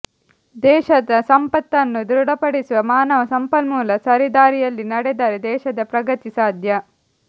ದೇಶದ ಸಂಪತ್ತನ್ನು ದೃಢಪಡಿಸುವ ಮಾನವ ಸಂಪನ್ಮೂಲ ಸರಿದಾರಿಯಲ್ಲಿ ನಡೆದರೆ ದೇಶದ ಪ್ರಗತಿ ಸಾಧ್ಯ